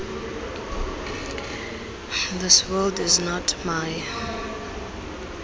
this world is not my